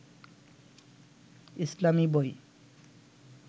ইসলামী বই